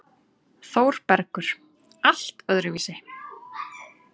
ÞÓRBERGUR: Allt öðruvísi.